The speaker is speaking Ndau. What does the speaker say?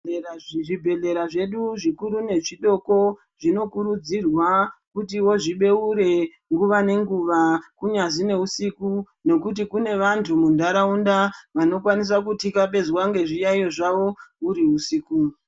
Zvibhedhlera zvedu zvikuru nezvidoko zvinokuridzirwa kuti zvibeure nguwa nenguwa kunyazi neusiku nekuti kune vantu mundaraunda vanokwanisa kutikabhezwa ngezviyaiyo zvavo uriusiku.